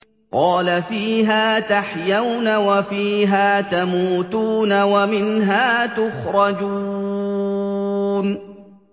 قَالَ فِيهَا تَحْيَوْنَ وَفِيهَا تَمُوتُونَ وَمِنْهَا تُخْرَجُونَ